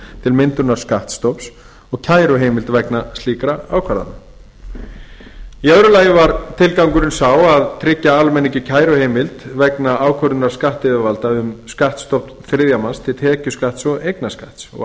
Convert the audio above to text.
til myndunar skattstofns og kæruheimild vegna slíkra ákvarðana í öðru lagi var tilgangurinn sá að tryggja almenningi kæruheimild vegna ákvörðunar skattyfirvalda um skattstofn þriðja manns til tekjuskatts og eignarskatts af